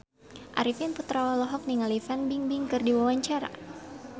Arifin Putra olohok ningali Fan Bingbing keur diwawancara